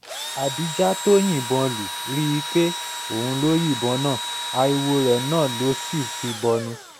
adija tó yìnbọn lù rí i pé òun ló yìnbọn náà ariwo rẹ̀ náà ló sì fi bọnu